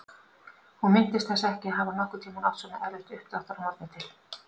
Hún minntist þess ekki að hafa nokkurn tímann átt svona erfitt uppdráttar að morgni til.